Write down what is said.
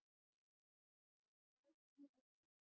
Og sál hinnar elskuðu.